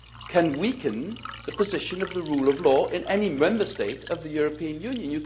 can weaken the position of the rule of law in any Member State of the European Union.